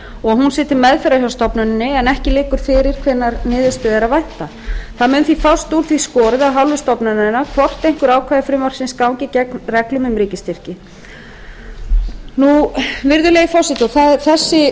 og að hún sé til meðferðar hjá stofnuninni en ekki liggur fyrir hvenær niðurstöðu er að vænta það mun því fást úr því skorið af hálfu stofnunarinnar hvort einhver ákvæði frumvarpsins ganga gegn reglum um ríkisstyrki virðulegi